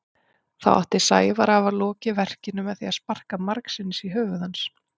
Þá átti Sævar að hafa lokið verkinu með því að sparka margsinnis í höfuð hans.